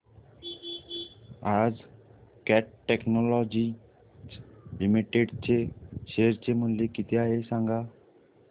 आज Cat Technologies Limited चे share चे मूल्य किती आहे सांगा